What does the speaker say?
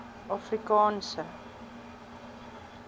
afrikaanse